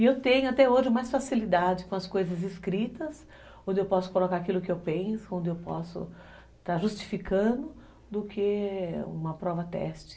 E eu tenho até hoje mais facilidade com as coisas escritas, onde eu posso colocar aquilo que eu penso, onde eu posso estar justificando, do que uma prova-teste.